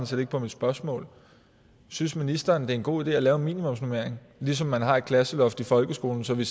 set ikke på mit spørgsmål synes ministeren det er en god idé at lave en minimumsnormering ligesom man har et klasseloft i folkeskolen så vi